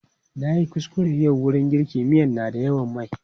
Na yi kuskure yau wurin girka miya na da yawan mai.